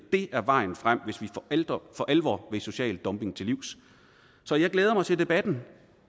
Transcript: er vejen frem hvis vi for alvor vil social dumping til livs så jeg glæder mig til debatten